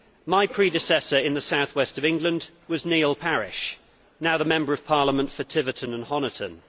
My predecessor in the South West of England was Neil Parish, now the Member of Parliament for Tiverton and Honiton.